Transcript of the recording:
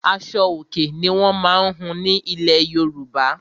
Aṣo-Òkè ni wọ́n má ń hun ní ilẹ̀ Yorùbá.